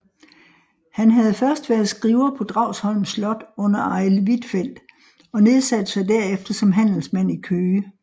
Han havde først været skriver på Dragsholm Slot under Arild Huitfeldt og nedsatte sig derefter som handelsmand i Køge